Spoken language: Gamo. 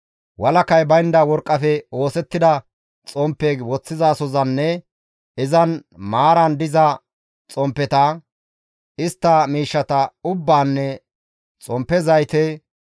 walakay baynda worqqafe oosettida xomppe woththizasozanne izan maaran diza xomppeta, istta miishshata ubbaanne xomppe zayte,